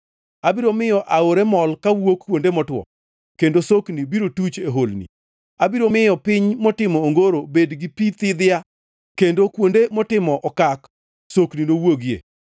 Abiro miyo aore mol kawuok kuonde motwo, kendo sokni biro tuch e holni. Abiro miyo piny motimo ongoro bed gi pi thidhna, kendo kuonde motimo okak sokni nowuogie.